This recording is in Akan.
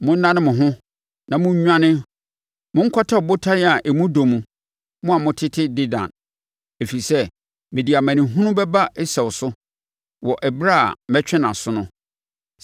Monnane mo ho na monnwane monkɔtetɛ abodan a emu dɔ mu, mo a motete Dedan, ɛfiri sɛ, mede amanehunu bɛba Esau so wɔ ɛberɛ a mɛtwe nʼaso no.